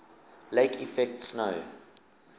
lake effect snow